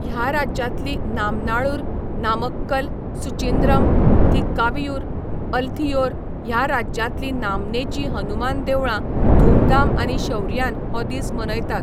ह्या राज्यांतलीं नामनाळूर, नामक्कल, सुचिंद्रम, थ्रिक्कावियूर, अलथियोर ह्या राज्यांतलीं नामनेचीं हनुमान देवळां धूमधाम आनी शौर्यान हो दीस मनयतात.